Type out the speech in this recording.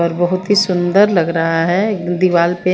और बहुत ही सुन्दर लग रहा है दीवाल पे--